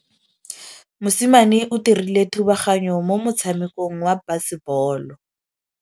Mosimane o dirile thubaganyô mo motshamekong wa basebôlô.